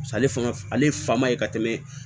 ale fanga ale fa ma ye ka tɛmɛ